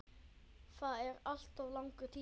Það er alltof langur tími.